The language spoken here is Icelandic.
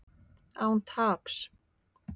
Án taps